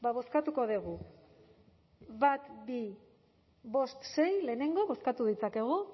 bozkatuko dugu bat bi bost sei lehenengo bozkatu ditzakegu